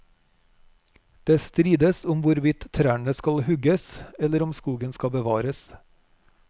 Det strides om hvorvidt trærne skal hugges, eller om skogen skal bevares.